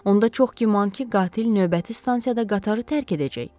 Onda çox güman ki, qatil növbəti stansiyada qatarı tərk edəcək.